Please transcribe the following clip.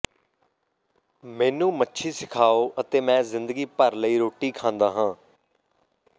ਮੈਨੂੰ ਮੱਛੀ ਸਿਖਾਓ ਅਤੇ ਮੈਂ ਜ਼ਿੰਦਗੀ ਭਰ ਲਈ ਰੋਟੀ ਖਾਂਦਾ ਹਾਂ